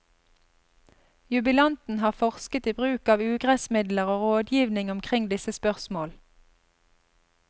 Jubilanten har forsket i bruk av ugressmidler og rådgivning omkring disse spørsmål.